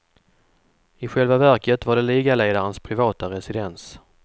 I själva verket var det ligaledarens privata residens.